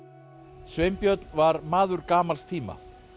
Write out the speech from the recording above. Sveinbjörn var maður gamals tíma